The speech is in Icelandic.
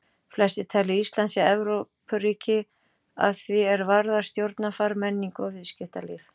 Flestir telja að Ísland sé Evrópuríki að því er varðar stjórnarfar, menningu og viðskiptalíf.